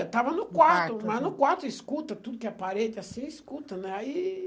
Estava no quarto, mas no quarto escuta, tudo que é parede, assim, escuta, né? Aí...